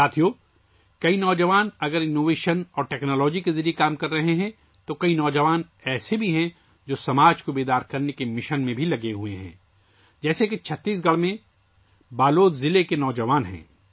دوستو، اگر بہت سے نوجوان اختراعات اور ٹیکنالوجی کے ذریعے کام کر رہے ہیں، تو بہت سے نوجوان ایسے بھی ہیں جو چھتیس گڑھ کے بلود ضلع کے نوجوانوں کی طرح سماج کو بیدار کرنے کے مشن میں لگے ہوئے ہیں